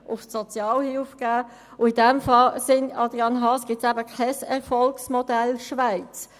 In diesem Sinn, Adrian Haas, gibt es eben kein Erfolgsmodell Schweiz.